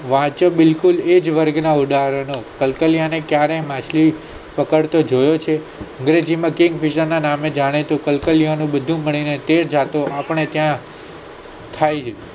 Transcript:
વાંચો બિલકુલ એજ વર્ગના ઉદાહરણો કલ્કાલિયા ને ક્યારેય માછલી પકડતા જોયો છે વેજ મિકીન બીજા ના નામે જાણેતો કલ્કાલિયા નું બધું જાણે આપણે ક્યાં જાણીયે